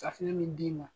Safunɛ min d'i ma